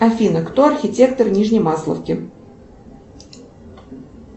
афина кто архитектор нижнемасловки